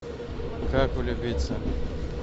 как влюбиться